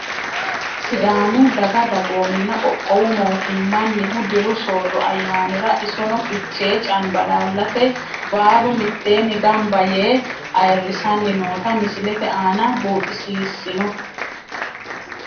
Sidaamu daga dagoomina qoqqowu mootimanihu diru soorro ayaanira isono fichee canbalaalate baalu miteeeni ganba yee ayirisani noota misilete aana buuxisisino.